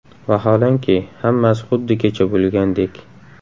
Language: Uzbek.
Vaholanki, hammasi xuddi kecha bo‘lgandek.